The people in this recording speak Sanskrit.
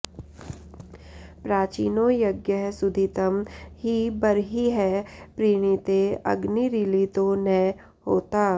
प्रा॒चीनो॑ य॒ज्ञः सुधि॑तं॒ हि ब॒र्हिः प्री॑णी॒ते अ॒ग्निरी॑ळि॒तो न होता॑